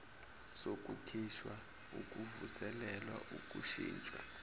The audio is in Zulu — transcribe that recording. sokukhishwa ukuvuselelwa ukushintshwa